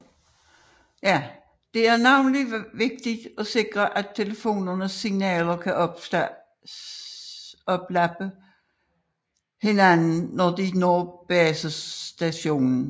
Det er navnlig vigtigt at sikre at telefonernes signaler ikke oplapper hinanden når de når basestationen